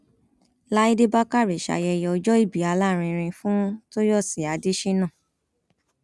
láìdé bákárẹ ṣayẹyẹ ọjọòbí alárinrin fún tòyọsì adéṣánà